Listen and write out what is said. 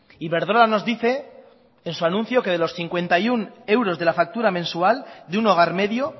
iberdrola nos dice en su anuncio que de los cincuenta y uno euros de la factura mensual de un hogar medio